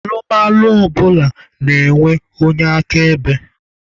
Alụmalụ ọbụla na-enwe onye akaebe.